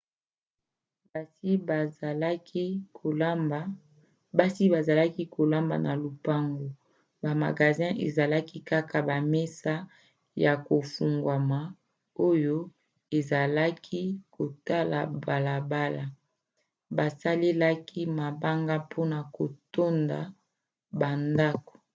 basi bazalaki kolamba na lopango; ba magasins ezalaki kaka bamesa ya kofungwama oyo ezalaki kotala balabala. basalelaki mabanga mpona kotonda bandako